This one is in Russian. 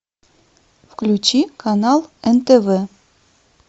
включи канал нтв